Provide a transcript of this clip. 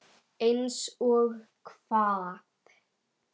Eins og hvað?